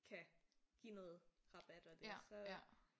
Kan give noget rabat og det så